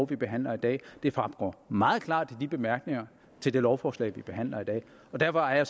vi behandler i dag det fremgår meget klart af bemærkningerne til det lovforslag vi behandler i dag derfor er